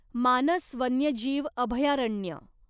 मानस वन्यजीव अभयारण्य